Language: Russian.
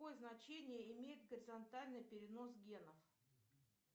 какое значение имеет горизонтальный перенос генов